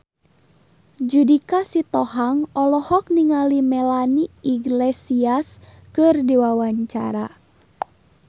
Judika Sitohang olohok ningali Melanie Iglesias keur diwawancara